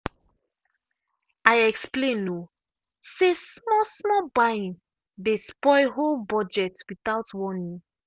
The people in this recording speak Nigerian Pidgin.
i explain um say small-small buying dey spoil whole budget without warning.